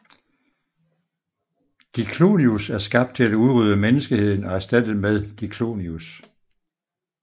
Diclonius er skabt til at udrydde menneskeheden og erstatte den med Diclonius